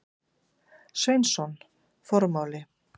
Sveinsson: Formáli.